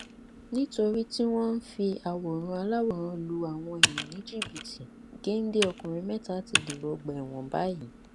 nítorí tí wọn ń fi àwòrán aláwòrán lu àwọn èèyàn ní jìbìtì géńdé ọkùnrin mẹta ti dèrò ọgbà ẹwọn báyìí